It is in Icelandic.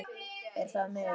Er það miður.